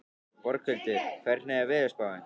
Borghildur, hvernig er veðurspáin?